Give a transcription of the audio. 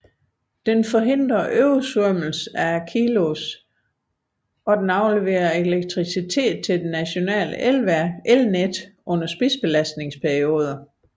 Den forhindrer oversvømmelse af Acheloos og leverer elektricitet til det nationale elnet under spidsbelastningsperioder